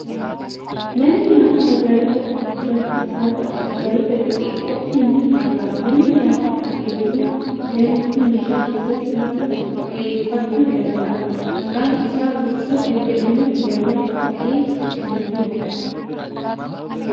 Manni nyaataa magaalota gurguddaattis haa ta'u, magaalota xixiqqootti ni argama. Manni nyaataa kun teessuma danuu fi meeshaa keessaatii harka qulqulleeffachuu danda'an, maqaan isaa roottoo kan jedhamu balbala kaa'ee kan jirudha.